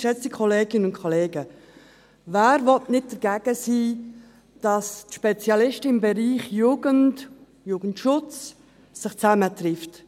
Wer will dagegen sein, dass sich die Spezialisten aus dem Bereich Jugendarbeit und Jugendschutz treffen?